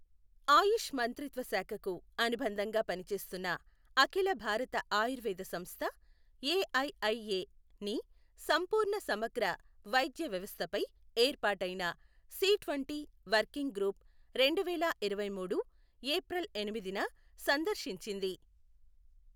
ఆయుష్ మంత్రిత్వ శాఖకు అనుబంధంగా పనిచేస్తున్న అఖిల భారత ఆయుర్వేద సంస్థ ఎఐఐఏ ని సంపూర్ణ సమగ్ర వైద్య వ్యవస్థపై ఏర్పాటైన సి ట్వంటీ వర్కింగ్ గ్రూప్ రెండువేల ఇరవైమూడు ఏప్రిల్ ఎనిమిదిన సందర్శించింది.